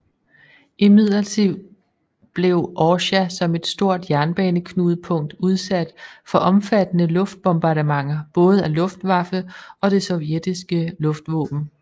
Imidlertid blev Orsja som et stort jernbaneknudepunkt udsat for omfattende luftbombardementer både af luftwaffe og det sovjetiske luftvåben